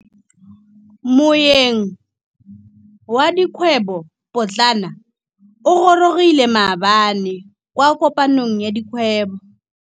Moêng wa dikgwêbô pôtlana o gorogile maabane kwa kopanong ya dikgwêbô.